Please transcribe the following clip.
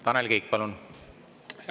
Tanel Kiik, palun!